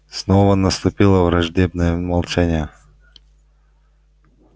снова наступило враждебное молчание